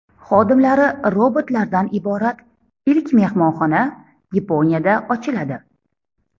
Xodimlari robotlardan iborat ilk mehmonxona Yaponiyada ochiladi.